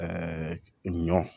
ɲɔ